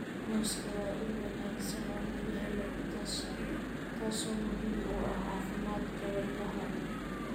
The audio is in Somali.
Muuska waa il wanaagsan oo laga helo potassium, taasoo muhiim u ah caafimaadka wadnaha.